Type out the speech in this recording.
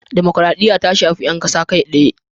Dimukraɗiya ta shafi 'yan kasa kai tsaye.